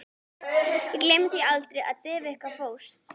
Ég gleymi því aldrei, þegar Devika fórst.